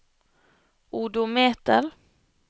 odometer